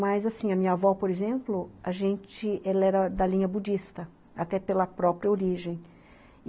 Mas assim, a minha avó, por exemplo, a gente, ela era da linha budista, até pela própria origem.